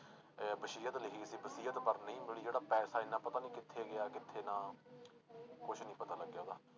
ਇਹ ਵਸੀਅਤ ਲਿਖੀ ਸੀ ਵਸੀਅਤ ਪਰ ਨਹੀਂ ਮਿਲੀ ਜਿਹੜਾ ਪੈਸਾ ਇੰਨਾ ਪਤਾ ਨੀ ਕਿੱਥੇ ਗਿਆ ਕਿੱਥੇ ਨਾ ਕੁਛ ਨੀ ਪਤਾ ਲੱਗਿਆ ਉਹਦਾ